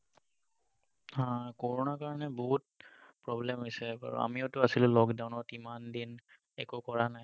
হম কৰণা কাৰণে বহুত problem হৈছে বাৰু আমিওটো আছিলোঁ lockdown ইমান দিন একো কৰা নাই।